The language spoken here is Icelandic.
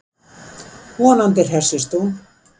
Vonandi hressist hún.